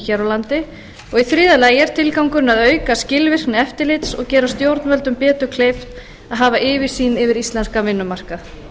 hér á landi í þriðja lagi er tilgangurinn að auka skilvirkni eftirlits og gera stjórnvöldum betur kleift að hafa yfirsýn yfir íslenskan vinnumarkað